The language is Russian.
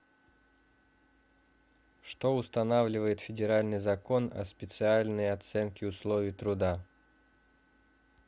что устанавливает федеральный закон о специальной оценке условий труда